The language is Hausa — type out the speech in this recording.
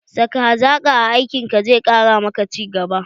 saka hazaƙa a aikin ka zai ƙara ma ka ci gaba.